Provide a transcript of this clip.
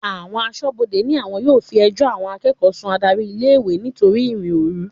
Àwọn aṣọ́bodè ní àwọn yóò fi ẹjọ́ àwọn akẹ́kọ̀ọ́ sun adárí ilé-ìwé nítorí ìrìn-òru.